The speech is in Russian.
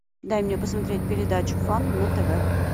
дай мне посмотреть передачу фан на тв